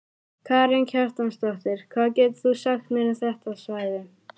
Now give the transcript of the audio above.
Karen Kjartansdóttir: Hvað getur þú sagt mér um þetta svæði?